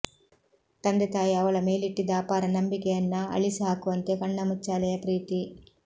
ತಂದೆತಾಯಿ ಅವಳ ಮೇಲಿಟ್ಟಿದ್ದ ಅಪಾರ ನಂಬಿಕೆಯನ್ನ ಅಳಿಸಿ ಹಾಕುವಂತೆ ಕಣ್ಣಾಮುಚ್ಚಾಲೆಯ ಪ್ರೀತಿ